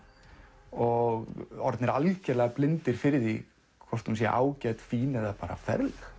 og orðnir algerlega blindir fyrir því hvort hún sé ágæt fín eða bara ferleg